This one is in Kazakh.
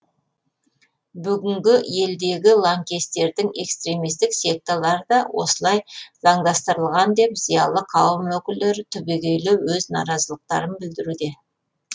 бүгінгі елдегі лаңкестердің экстремистік секталары да осылай заңдастырылған деп зиялы қауым өкілдері түбегейлі өз наразылықтарын білдіруде